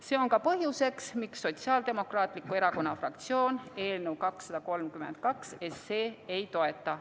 See on ka põhjus, miks Sotsiaaldemokraatliku Erakonna fraktsioon eelnõu 232 ei toeta.